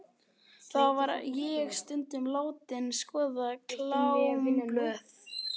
Þar var ég stundum látin skoða klámblöð.